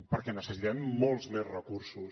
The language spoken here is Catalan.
perquè necessitem molts més recursos